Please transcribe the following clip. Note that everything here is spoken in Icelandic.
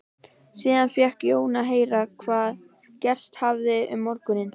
Síðan fékk Jón að heyra hvað gerst hafði um morguninn.